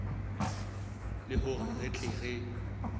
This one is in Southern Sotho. le hore re tle re